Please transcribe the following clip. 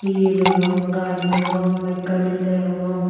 ye degong gaaj degong mekkani degong.